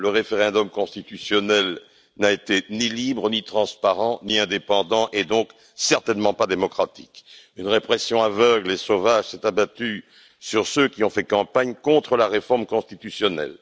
Le référendum constitutionnel n'a été ni libre, ni transparent, ni indépendant et donc certainement pas démocratique. Une répression aveugle et sauvage s'est abattue sur ceux qui ont fait campagne contre la réforme constitutionnelle.